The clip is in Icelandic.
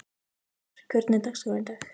Vestmar, hvernig er dagskráin í dag?